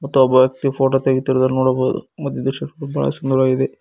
ತ್ತು ಒಬ್ಬ ವ್ಯಕ್ತಿ ಫೋಟೋ ತೆಗೆತಿರುವುದನ್ನು ನೋಡಬಹುದು ಮತ್ತು ಈ ದೃಶ್ಯ ಬಹಳ ಸುಂದರವಾಗಿದೆ.